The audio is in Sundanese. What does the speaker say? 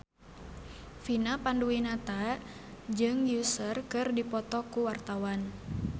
Vina Panduwinata jeung Usher keur dipoto ku wartawan